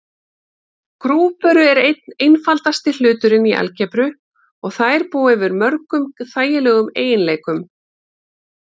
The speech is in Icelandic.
Grúpur eru einn einfaldasti hluturinn í algebru og þær búa yfir mörgum þægilegum eiginleikum.